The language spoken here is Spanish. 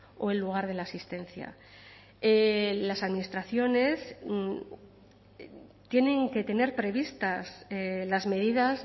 o en lugar de la asistencia las administraciones tienen que tener previstas las medidas